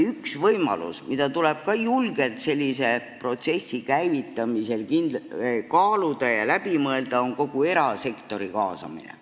Üks võimalus, mida tuleb julgelt sellise protsessi käivitamisel kaaluda ja mis tuleb läbi mõelda, on kindlasti erasektori kaasamine.